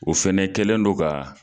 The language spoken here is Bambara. O fɛnɛ kɛlen no ka